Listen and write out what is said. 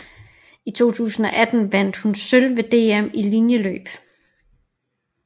I 2018 vandt hun sølv ved DM i linjeløb